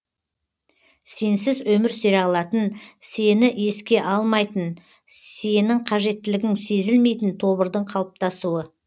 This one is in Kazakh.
сенсіз өмір сүре алатын сені еске алмайтын сенің қажеттілігің сезілмейтін тобырдың қалыптасуы